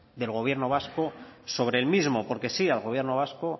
del gobierno vasco sobre el mismo porque sí al gobierno vasco